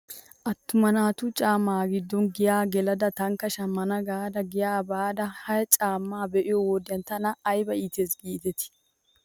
Attuma naatu caammay hagiddon giyaa gelidaagaa tankka shammana gaada giyaa baada he caammaa be'iyoo wodiyan tana ayba iitis giidetii .